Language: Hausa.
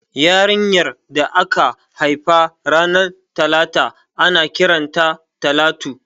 Yarinyar da aka haifa ranar talata ana kiran ta Talatu